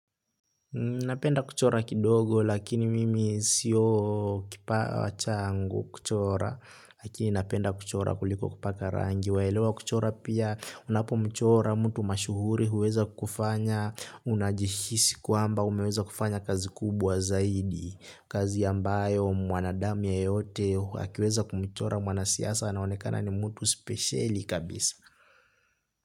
Napenda kuchora kidogo lakini mimi sio kipawa chango kuchora lakini napenda kuchora kuliko kupaka rangi waelewa kuchora pia unapo mchora mtu mashuhuri huweza kufanya unajihisi kwamba umeweza kufanya kazi kubwa zaidi kazi ambayo mwanadamu yeyote akiweza kumchora mwanasiasa anaonekana ni mtu spesheli kabisa.